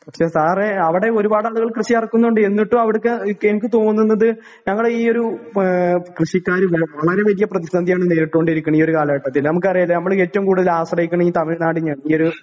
പക്ഷേ സാറെ അവടെ ഒരുപാടാളുകൾ കൃഷി എറക്കുന്നുണ്ട് എന്നിട്ടും അവട്ക്ക്‌ എനിക്ക് തോന്നുന്നത് ഞങ്ങളെ ഈയൊരു ഏഹ് കൃഷിക്കാര് വേ വളരെവല്യ പ്രതിസന്ധിയാണ് നേരിട്ടോണ്ടിരിക്കണ് ഈയൊരു കാലഘട്ടത്തില് നമുക്കറിയാല്ലേ അമ്മള് ഏറ്റവും കൂടല് ആശ്രയിക്കണെയീ തമിഴ്‌നാടിനെയാണ് ഈയൊരു